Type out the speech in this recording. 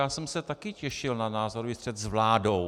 Já jsem se taky těšil na názorový střet s vládou.